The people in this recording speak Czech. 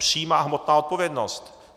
Přímá hmotná odpovědnost.